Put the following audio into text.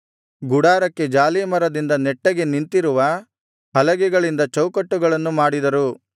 ಗುಡಾರಕ್ಕೆ ಜಾಲೀಮರದಿಂದ ನೆಟ್ಟಗೆ ನಿಂತಿರುವ ಹಲಗೆಗಳಿಂದ ಚೌಕಟ್ಟುಗಳನ್ನು ಮಾಡಿದರು